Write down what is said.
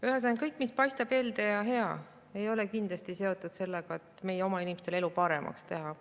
Ühesõnaga, kõik, mis paistab helde ja hea, ei ole kindlasti seotud sellega, et meie oma inimeste elu paremaks teha.